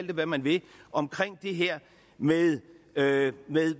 det hvad man vil om det her med med